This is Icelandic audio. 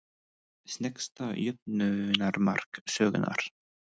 Sneggsta jöfnunarmark sögunnar?